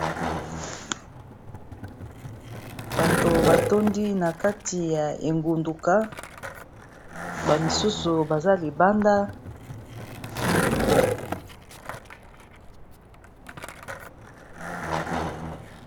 Bato batondi na kati ya engunduka bamisusu baza libanda.